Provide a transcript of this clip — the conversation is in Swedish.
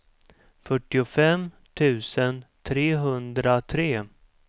fyrtiofem tusen trehundratre